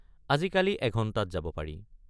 আজিকালি এঘণ্টাত যাব পাৰি।